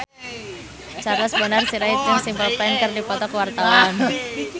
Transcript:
Charles Bonar Sirait jeung Simple Plan keur dipoto ku wartawan